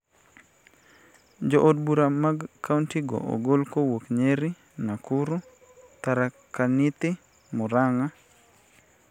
Jo od bura mag kaonti go ogol kowuok Nyeri, Nakuru, Tharaka Nithi, Muranga,